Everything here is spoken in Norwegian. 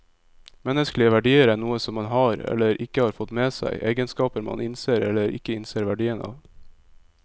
Menneskelige verdier er noe som man har, eller ikke har fått med seg, egenskaper man innser eller ikke innser verdien av.